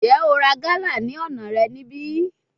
Njẹ o ra gala ni ọna rẹ nibi?